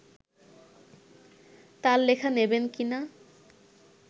তাঁর লেখা নেবেন কি না